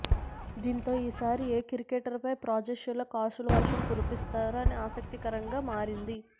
దీంతో ఈసారి ఏ క్రికెటర్పై ఫ్రాంచైజీలు కాసుల వర్షం కురిపిస్తారో అని ఆసక్తికరంగా మారింది